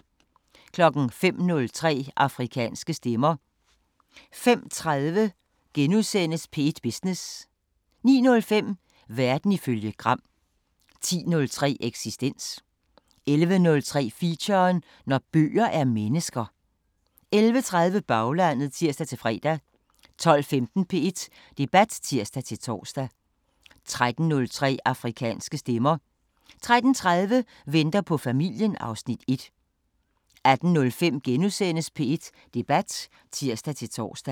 05:03: Afrikanske Stemmer 05:30: P1 Business * 09:05: Verden ifølge Gram 10:03: Eksistens 11:03: Feature: Når bøger er mennesker 11:30: Baglandet (tir-fre) 12:15: P1 Debat (tir-tor) 13:03: Afrikanske Stemmer 13:30: Venter på familien (Afs. 1) 18:05: P1 Debat *(tir-tor)